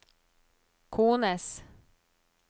kones